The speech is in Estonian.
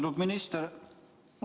Austatud minister!